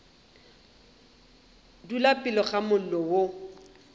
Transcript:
dula pele ga mollo o